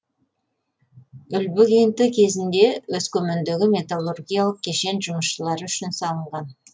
үлбі кенті кезінде өскемендегі металлургиялық кешен жұмысшылары үшін салынған